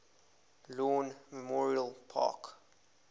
lawn memorial park